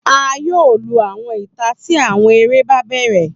A yoo lu awọn ita ti awọn ere ba bẹrẹ